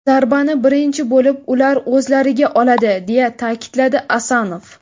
Zarbani birinchi bo‘lib ular o‘zlariga oladi”, deya ta’kidladi Asanov.